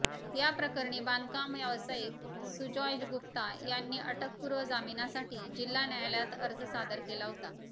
या प्रकरणी बांधकाम व्यावसायिक सुजॉय गुप्ता यांनी अटकपूर्व जामिनासाठी जिल्हा न्यायालयात अर्ज सादर केला होता